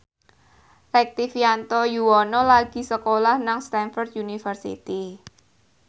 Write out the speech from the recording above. Rektivianto Yoewono lagi sekolah nang Stamford University